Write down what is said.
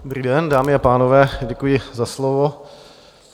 Dobrý den, dámy a pánové, děkuji za slovo.